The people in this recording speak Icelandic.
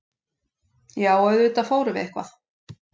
Já, auðvitað fórum við eitthvað.